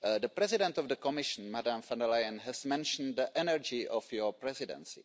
The President of the Commission, Ms von der Leyen, and has mentioned the energy of your Presidency.